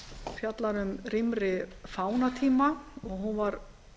fjallar um rýmri fánatíma hún var